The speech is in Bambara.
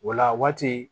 O la waati